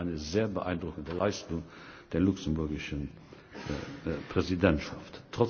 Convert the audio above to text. Das war eine sehr beeindruckende Leistung der luxemburgischen Präsidentschaft.